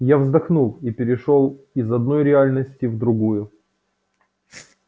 я вздохнул и перешёл из одной реальности в другую